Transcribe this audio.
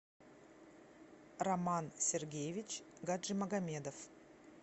роман сергеевич гаджимагомедов